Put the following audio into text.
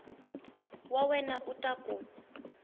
wa wena u ta ku